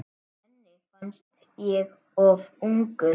Henni fannst ég of ungur.